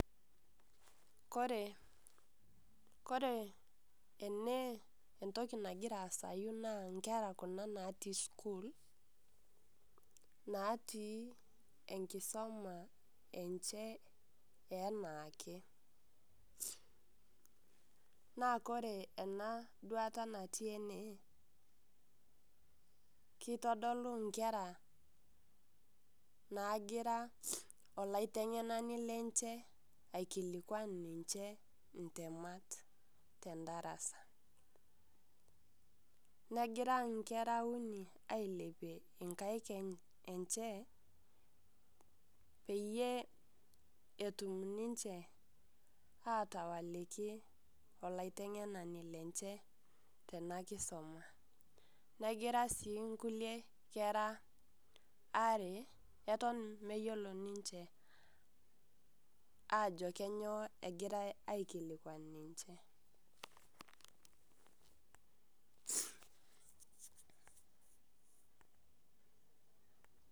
Kore, kore ene entoki nagira asayu naa nkera kuna natii sukuul, natii enkisoma enche enaake. Naa kore ena duata natii ene, kitodolu nkera nagira olaiteng'enani lenche aikilikwan ninche intemat tendarasa. Negira inkera uni ailepie inkaik enche, peyie etum ninche atawaliki olaiteng'enani lenche tena kisoma. Negira si nkulie kera are eton meyiolo ninche ajo kenyoo egirai aikilikwan ninche.